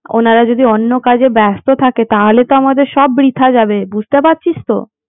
উনারা যদি অন্য কাজে ব্যাস্ত থাকে তাহলে তো আমাদের সব বৃথা যাবে বুঝতে পারছিস তো